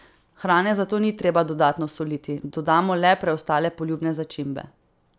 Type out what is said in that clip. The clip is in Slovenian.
Hrane zato ni treba dodatno soliti, dodamo le preostale poljubne začimbe.